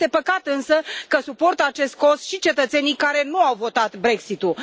Este păcat însă că suportă acest cost și cetățenii care nu au votat Brexitul.